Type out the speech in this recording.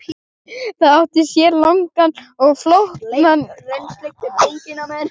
Það átti sér langan og flókinn aðdraganda.